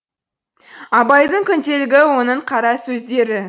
абайдың күнделігі оның қарасөздері